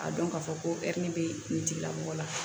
A dɔn k'a fɔ ko bɛ nin tigila mɔgɔ la